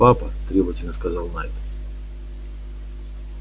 папа требовательно сказал найд